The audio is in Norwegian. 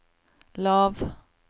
lav